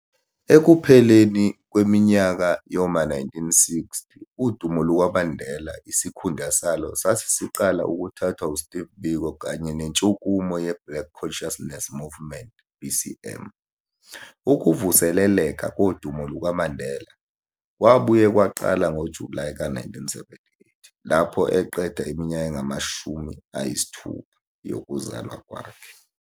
Ekupheleni kweminyaka yoma 1960, udumo lukaMandela isikhundla salo sasesiqala ukuthathwa Steve Biko kanye nentshukumo ye-Black Consciousness Movement, BCM. Ukuvuseleleka kodumo lukaMandela, kwabuye kwaqala ngoJulayi ka 1978, lapho eqeda iminyaka engama 60. yokuzalwa kwakhe.